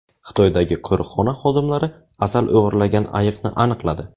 Xitoydagi qo‘riqxona xodimlari asal o‘g‘irlagan ayiqni aniqladi.